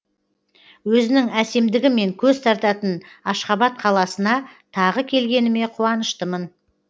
өзінің әсемдігімен көз тартатын ашхабад қаласына тағы келгеніме қуаныштымын